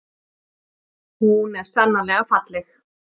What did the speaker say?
Hún er sannarlega falleg.